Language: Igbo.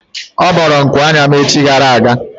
Ọ bọọrọ nku anya m echi gara aga.